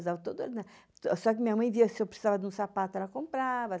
Só que minha mãe via se eu precisava de um sapato, ela comprava.